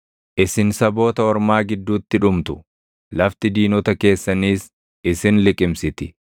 Isin saboota ormaa gidduutti dhumtu; lafti diinota keessaniis isin liqimsiti.